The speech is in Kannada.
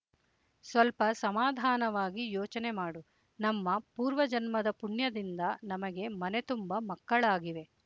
ಸ್ವಲ್ಪ ಸಮಾಧಾನವಾಗಿ ಯೋಚನೆ ಮಾಡು ನಮ್ಮ ಪೂರ್ವಜನ್ಮದ ಪುಣ್ಯದಿಂದ ನಮಗೆ ಮನೆತುಂಬ ಮಕ್ಕಳಾಗಿವೆ